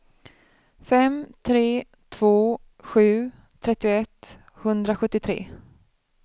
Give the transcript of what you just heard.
fem tre två sju trettioett sjuhundrasjuttiotre